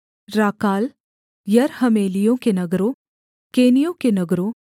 राकाल यरहमेलियों के नगरों केनियों के नगरों